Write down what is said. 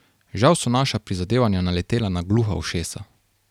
Žal so naša prizadevanja naletela na gluha ušesa.